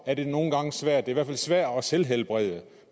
er det nogle gange svært i hvert er svært at selvhelbrede